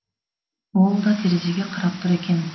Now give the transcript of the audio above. ол да терезеге қарап тұр екен